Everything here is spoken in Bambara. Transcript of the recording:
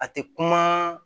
A tɛ kuma